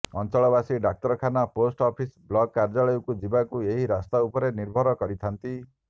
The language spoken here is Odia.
ଅଞ୍ଚଳବାସୀ ଡାକ୍ତରଖାନା ପୋଷ୍ଟ ଅଫିସ ବ୍ଲକ କାର୍ଯ୍ୟାଳୟକୁ ଯିବାକୁ ଏହି ରାସ୍ତା ଉପରେ ନିର୍ଭର କରିଥାନ୍ତି